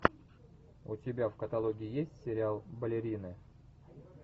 у тебя в каталоге есть сериал балерины